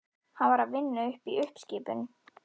Hann var að vinna við uppskipun.